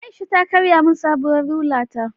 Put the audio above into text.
Aisha ta karya min sabuwar rula ta